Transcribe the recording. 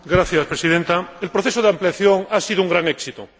Señora Presidenta, el proceso de ampliación ha sido un gran éxito